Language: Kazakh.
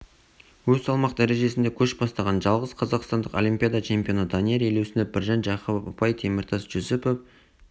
өз салмақ дәрежесінде көш бастаған жалғыз қазақстандық олимпиада чемпионы данияр елеусінов біржан жақыпов ұпай теміртас жүсіпов